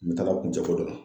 Nin taala kuncɛ ko dɔ la.